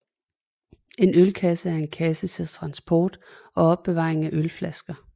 En ølkasse er en kasse til transport og opbevaring af ølflasker